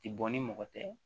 Ti bɔ ni mɔgɔ tɛ